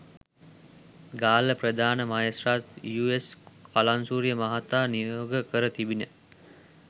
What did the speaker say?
ගාල්ල ප්‍රධාන මහේත්‍රාත් යූ.එස් කලංසූරිය මහතා නියෝග කර තිබිණ